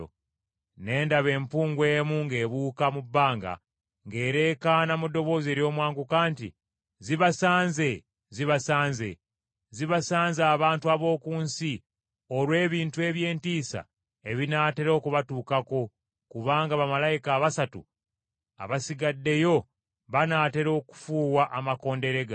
Ne ndaba empungu emu ng’ebuuka mu bbanga ng’ereekaana mu ddoboozi ery’omwanguka nti, “Zibasanze, Zibasanze, Zibasanze abantu ab’oku nsi olw’ebintu eby’entiisa ebinaatera okubatuukako kubanga bamalayika abasatu abasigaddeyo banaatera okufuuwa amakondeere gaabwe.”